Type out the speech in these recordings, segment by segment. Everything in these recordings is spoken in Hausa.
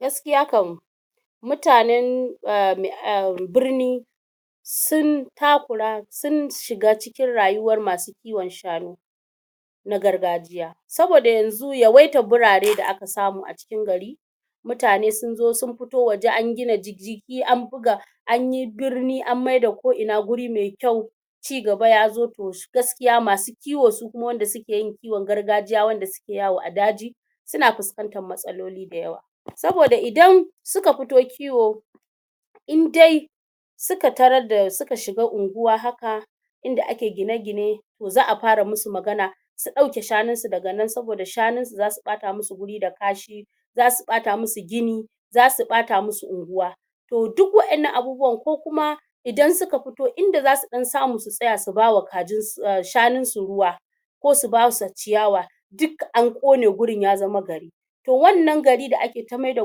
gaskiya kam mutanen uhm birni sun takura sun shiga cikin rayuwar masu kiwon shanu na gargajiya saboda yanzu yawaitar birane da aka samu a cikin gari mutane sun zo sun fito waje an gina an buga anyi birni an maida ko ina guri me kyau cigaba ya zo to gaskiya ma su kiwo su kuma wanda suke yin kiwon gargajiya wanda suke yawo a daji suna fuskantar matsaloli da yawa saboda idan suka fito kiwo in dai suka tarar da suka shiga unguwa haka inda ake gine-gine to za'a fara mu su magana su ɗauke shanun su daga nan saboda shanun su za su ɓata mu su guri da kashi zasu ɓata mu su gini zasu ɓata mu su unguwa to duk wa'ennan abubuwan ko kuma idan suka fito inda za su ɗan samu su tsaya su ba wa shanun su ruwa ko su basu ciyawa duk an ƙone gurin ya zama gari to wannan gari da ake ta maida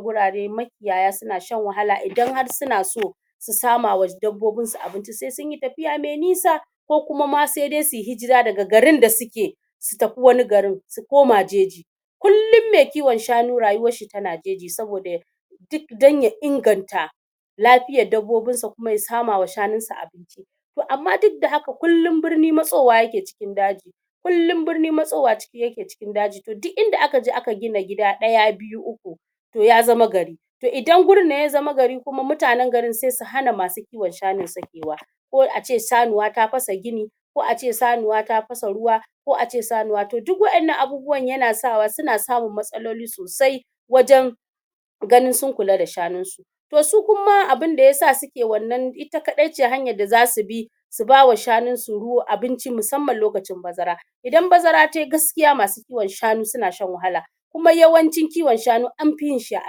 gurare ma kiyaya suna shan wahala idan har suna so su sama wa dabbobin su abinci se sun yi tafiya me nisa ko kuma ma sai dai suyi hijira daga garin da suke su tafi wani garin su koma jeji kullum me kiwon shanu rayuwar shi tana jeji saboda ya duk dan ya inganta lafiyar dabbobinsa kuma ya sama wa shanun sa abinci to amma duka da haka kullum birni matsowa yake cikin daji kullum birni matsowa yake cikin daji to inda aka je aka gina gida ɗaya (1), biyu (2), uku (3) to ya zama gari to idan gurin nan ya zama gari mutanen gurin se su hana masu kiwon shanun sakewa ko ace sanuwa ta fasa gini ko ace sanuwa ta fasa ruwa ko ace sanuwa to duk wannan abubuwan yana sa wa suna samun matsaloli sosai wajen ganin sun kula da shanun su to su kuma abunda ya sa suke wannan ita kaɗai ce hanyar da zau bi su ba wa shanun su abinci musamman lokacin bazara idan bazara tayi gaskiya masu kiwon shanu suna shan wahala kuma yawancin kiwon shanu an fi yin shi ne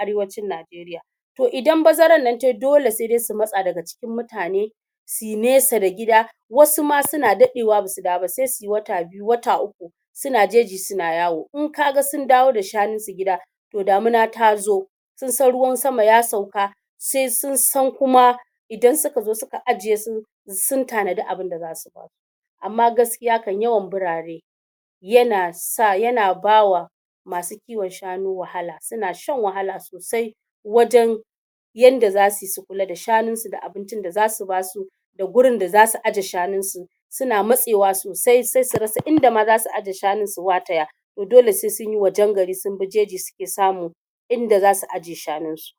a arewacin Najeriya to idan bazaran nan tayi dole ne su matsa daga cikin mutane suyi nesa da gida wasu ma suna daɗewa basu dawo ba se suyi wata biyu (2) wata uku (3) suna jeji suna yawo in ka ga sun dawo da shanun su gida to damuna ta zo sun san ruwan sama ya sauka se sun san kuma idan suka zo suka ajiye su sun tanadi abinda za su ba amma gaskiya kam yawan birane yana ba wa masu kiwon shanu wahala, suna shan wahala sosai wajen yanda zasu yi su kula da shanun su da abincin da zasu ba su da gurin da zasu aje shanun su suna matsewa sosai se su rasa inda ma zasu aje shanun su wataya to dole se sun yi wajen gari sun bi jeji suke samu inda zasu aje shanun su